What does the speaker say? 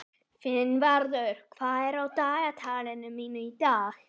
Finnvarður, hvað er á dagatalinu mínu í dag?